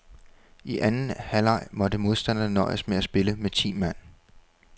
I anden halvleg måtte modstanderne nøjes med at spille med ti mand.